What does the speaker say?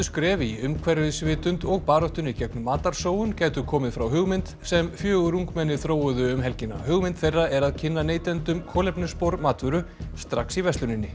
skref í umhverfisvitund og baráttunni gegn matarsóun gætu komið frá hugmynd sem fjögur ungmenni þróuðu um helgina hugmynd þeirra er að kynna neytendum kolefnisspor matvöru strax í versluninni